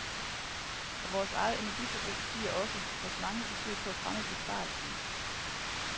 Og vores eget energiforbrug stiger også, trods mange forsøg på at fremme besparelserne.